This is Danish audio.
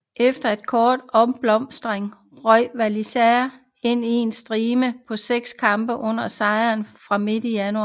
Efter en kort opblomstring røg Valencia ind i en stime på seks kampe uden sejr fra midt i januar